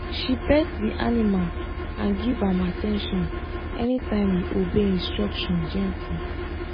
she pet the animal and give am at ten tion anytime e obey instruction gently